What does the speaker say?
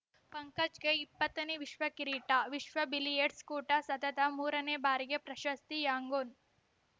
ಪಂಕಜ್‌ಗೆ ಇಪ್ಪತ್ತನೇ ವಿಶ್ವ ಕಿರೀಟ ವಿಶ್ವ ಬಿಲಿಯರ್ಡ್ಸ್ ಕೂಟ ಸತತ ಮೂರನೇ ಬಾರಿಗೆ ಪ್ರಶಸ್ತಿ ಯಾಂಗೂನ್‌